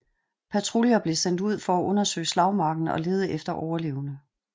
Patruljer blev sendt ud for at undersøge slagmarken og lede efter overlevende